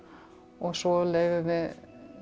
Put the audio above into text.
og svo leyfum við